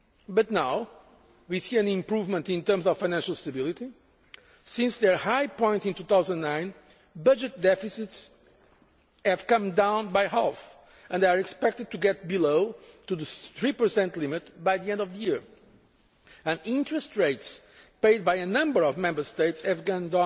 But now we see an improvement in terms of financial stability since their high point in 2009, budget deficits have come down by half and they are expected to get down to the 3 limit by the end of the year, while the interest rates paid by a number of Member States have gone